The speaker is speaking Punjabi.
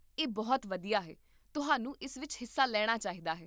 ਇਹ ਬਹੁਤ ਵਧੀਆ ਹੈ, ਤੁਹਾਨੂੰ ਇਸ ਵਿੱਚ ਹਿੱਸਾ ਲੈਣਾ ਚਾਹੀਦਾ ਹੈ